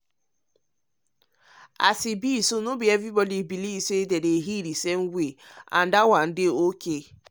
as e be so be so no be everybody believe um the same healing way and that one dey okay.